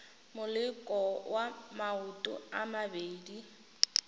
moleko wa maoto a mabedi